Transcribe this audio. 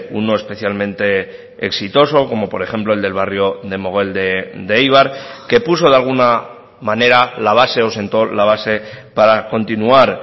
uno especialmente exitoso como por ejemplo el del barrio de mogel de eibar que puso de alguna manera la base o sentó la base para continuar